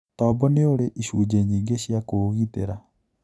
Tombo nĩurĩ icunje nyingĩ cia kũũgitĩra.